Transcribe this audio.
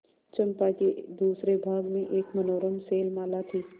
चंपा के दूसरे भाग में एक मनोरम शैलमाला थी